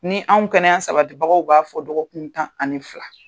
Ni anw kɛnɛya sabatibagaw b'a fɔ dɔgɔkun tan ani fila.